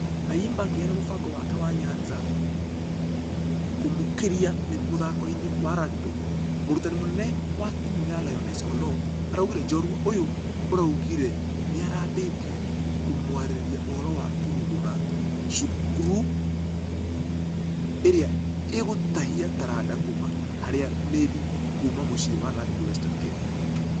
Ayimba akĩheana mũbango wake wa nyanza kũmakũria mũthako-inĩ wa rugby, mũrutani mũnene wa timũ ya lioness oloo. Araugire njorua ũyũ ũragũire nĩarambĩtie kũmũarĩria ũhoro wa kũrugũra .....thukuru ĩrĩa ĩgũtahia taranda kuuma harĩa mĩrii kuuma mũciĩ wa rugby western kenya.